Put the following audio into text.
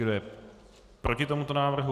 Kdo je proti tomuto návrhu?